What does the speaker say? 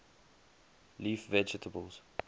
leaf vegetables